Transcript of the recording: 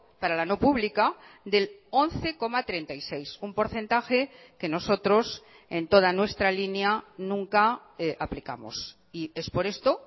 para la no pública del once coma treinta y seis un porcentaje que nosotros en toda nuestra línea nunca aplicamos y es por esto